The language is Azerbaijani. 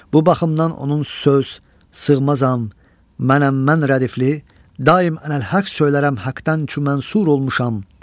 Bu baxımdan onun söz, sığmazam, mənəm mən rədifli, daim ələq söylərəm həqdən ki mən sur olmuşam.